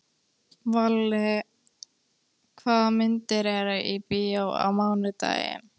Valli, hvaða myndir eru í bíó á mánudaginn?